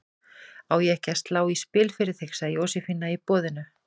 Á ég ekki að slá í spil fyrir þig? sagði Jósefína í boðinu.